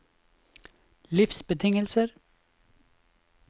livsbetingelser